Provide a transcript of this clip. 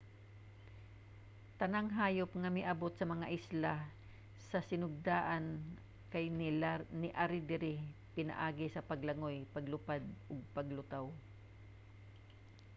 tanang hayop nga miabot sa mga isla sa sinugdanan kay niari diri pinaagi sa paglangoy paglupad o paglutaw